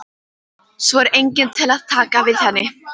Svo er enginn til að taka við henni.